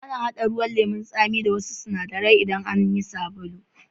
Ana hada ruwan lemu'n Sami da wassu sinadaran idan ana yin sabulu.